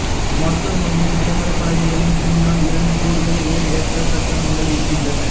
மருத்துவமனையின் விளம்பரப் பலகைகளின் பின்னால் இரண்டு கூடுதல் உயர்ஏற்றக் கட்டடங்கள் இருக்கின்றன